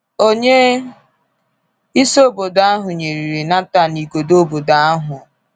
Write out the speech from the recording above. Onye isi obodo ahụ nyererị Nathan igodo obodo ahụ.